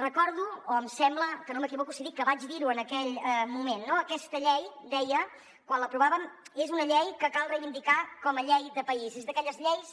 recordo o em sembla que no m’equivoco si dic que vaig dir ho en aquell moment no aquesta llei deia quan l’aprovàvem és una llei que cal reivindicar com a llei de país és d’aquelles lleis